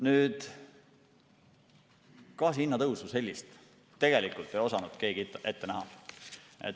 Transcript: Sellist gaasi hinna tõusu ei osanud tegelikult keegi ette näha.